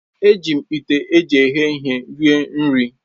Eji m ite eji eghe ihe rie nri